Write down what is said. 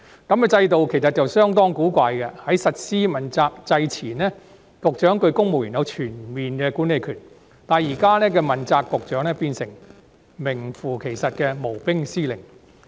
這種制度其實相當古怪，在實施問責制前，局長對公務員有全面管理權，但現時的問責局長卻變成名副其實的無兵司令。